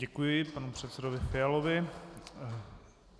Děkuji panu předsedovi Fialovi.